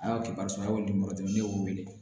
A y'a kɛ ye aw dimantɛ ne y'o wele